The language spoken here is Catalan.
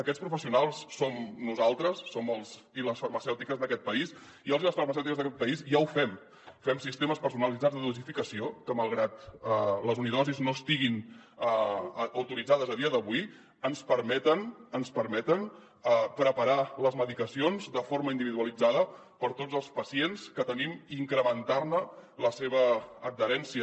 aquests professionals som nosaltres som els i les farmacèutiques d’aquest país i els i les farmacèutiques d’aquest país ja ho fem fem sistemes personalitzats de dosificació que malgrat que les unidosis no estiguin autoritzades a dia d’avui ens permeten preparar les medicacions de forma individualitzada per a tots els pacients que tenim i incrementar ne l’adherència